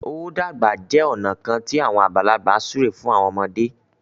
o dàgbà jẹ ọna kán ti awọn àgbàlagbà súré fún àwọn ọmọde.